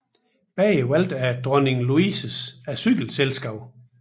Begge valgt af Dronning Louises Asylselskab